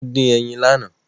Wọ́n dín ẹyin lánàá.